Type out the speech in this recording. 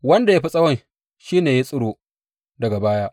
Wanda ya fi tsawon shi ne ya tsiro daga baya.